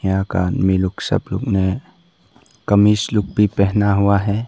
यहाँ का आदमी लोग सब लोगों ने कमीज लुक भी पहना हुआ है।